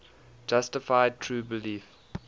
justified true belief